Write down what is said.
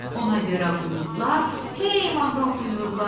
Ona görə buludlar, hey mahnı oxuyurlar.